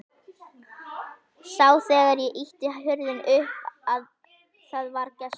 Sá þegar ég ýtti hurðinni upp að það var gestur.